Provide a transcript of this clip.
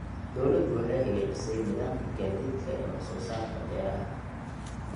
Dawladdu waxay hagaajisay nidaamka gaadiidka ee wax soo saarka beeraha.